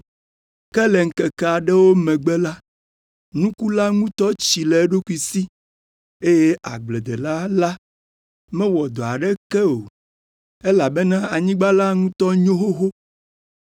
ke le ŋkeke aɖewo megbe la, nuku la ŋutɔ tsi le eɖokui si, eye agbledela la mewɔ dɔ aɖeke o, elabena anyigba la ŋutɔ nyo xoxo.